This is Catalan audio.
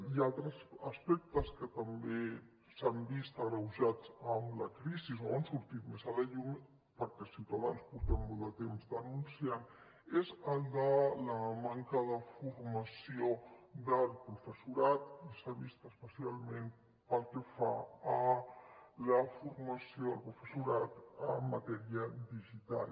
i altres aspectes que també s’han vist agreujats amb la crisi o han sortit més a la llum perquè ciutadans portem molt de temps denunciant ho són els de la manca de formació del professorat i s’ha vist especialment pel que fa a la formació del professorat en matèria digital